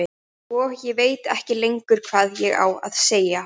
Og ég veit ekkert lengur hvað ég á að segja.